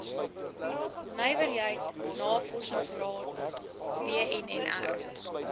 nywerheid navorsingsraad wnnr